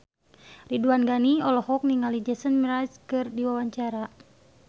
Ridwan Ghani olohok ningali Jason Mraz keur diwawancara